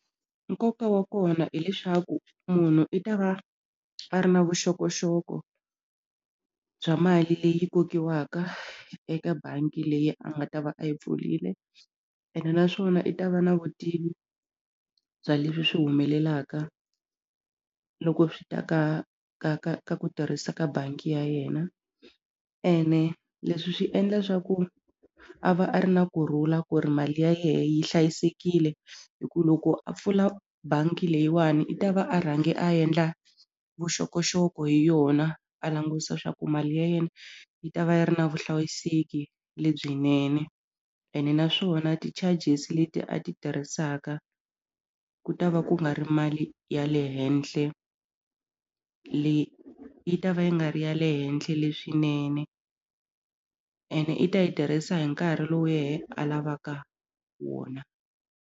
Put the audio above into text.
Nkoka wa kona hileswaku munhu i ta va a ri na vuxokoxoko bya mali leyi kokiwaka eka bangi leyi a nga ta va a yi pfurile ene naswona i ta va na vutivi bya leswi swi humelelaka loko swi ta ka ka ka ka ku tirhisa ka bangi ya yena ene leswi swi endla swa ku a va a ri na kurhula ku ri mali ya yena yi hlayisekile hi ku loko a pfula bangi leyiwani i ta va a rhanga a endla vuxokoxoko hi yona a langutisa leswaku mali ya yena yi ta va yi ri na vuhlayiseki lebyinene ene naswona ti-charges leti a ti tirhisaka ku ta va ku nga ri mali ya le henhle leyi yi ta va yi nga ri ya le henhla leswinene ene i ta yi tirhisa hi nkarhi lowu yena alavaka wona.